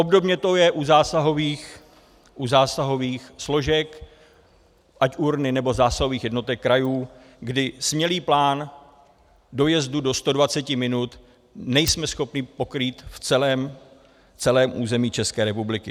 Obdobně to je u zásahových složek, ať URNA, nebo zásahových jednotek krajů, kdy smělý plán dojezdu do 120 minut nejsme schopni pokrýt v celém území České republiky.